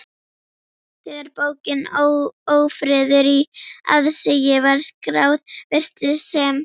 Þegar bókin Ófriður í aðsigi var skráð, virtist sem